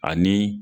Ani